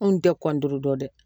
Anw tɛ dɔn dɛ